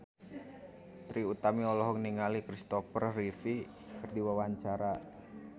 Trie Utami olohok ningali Christopher Reeve keur diwawancara